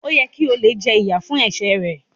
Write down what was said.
O yẹ ki olè jẹ ìyà fún ẹsẹ ẹ.